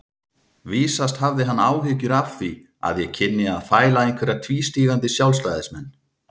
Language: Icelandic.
Vísast hafði hann áhyggjur af því að ég kynni að fæla einhverja tvístígandi sjálfstæðismenn.